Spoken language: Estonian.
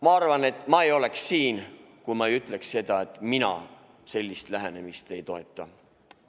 Ma arvan, et ma ei oleks siin, kui ma ei ütleks, et mina sellist lähenemist ei toeta.